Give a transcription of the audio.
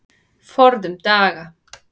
Forðum daga.